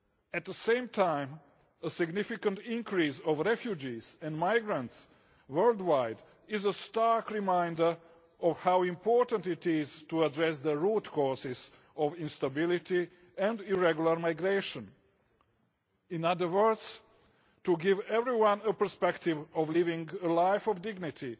At the same time, a significant increase in refugees and migrants worldwide is a stark reminder of how important it is to address the root causes of instability and irregular migration in other words, to give everyone the potential to live a life of dignity